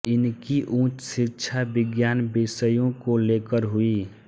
इनकी उच्च शिक्षा विज्ञान विषयों को लेकर हुई